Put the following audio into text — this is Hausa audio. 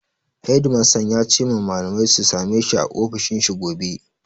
Hedimastan ya ce ma malamai su sameshi a ofishin shi gobe.